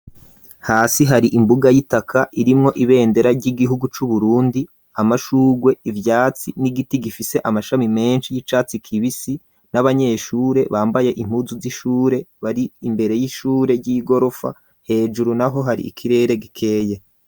Hasi hari imbuga y'itaka irimwo ibendera ry'igihugu c'uburundi, amashugwe, ivyatsi, n'igiti gifise amashami menshi y'icatsi kibisi n'abanyeshure bambaye inpuzu z'ishure bari imbere y'ishure y'igorofa hejuru naho hari ikirere gikeye.